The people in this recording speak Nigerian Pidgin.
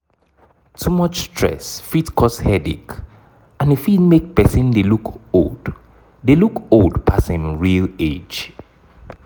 too much stress fit cause headache and e fit make person dey look old dey look old pass im real age